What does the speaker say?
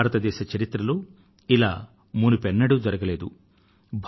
ఇలా భారతదేశ చరిత్రలో మునుపు ఎన్నడు జరగలేదు